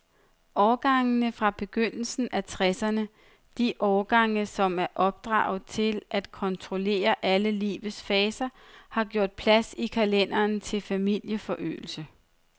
Årgangene fra begyndelsen af tresserne, de årgange, som er opdraget til at kontrollere alle livets faser, har gjort plads i kalenderen til familieforøgelse.